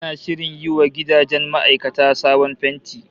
Ana shirin yi wa gidajen ma'aikata sabon fenti